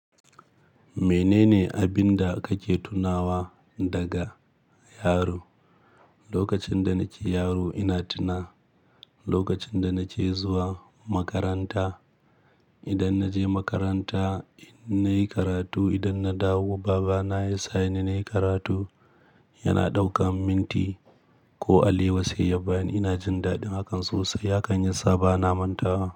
Menene abin da kake tunawa daga yaro? Lokacin da nake yaro ina tuna lokacin da nake zuwa makaranta. Idan naje makaranta nayi karatu, idan na dawo baba na ya saka ni nayi karatu, yana ɗauka minti ko alewa sai ya bani, ina jin daɗin hakan sosai. Hakan yasa ba na mantawa.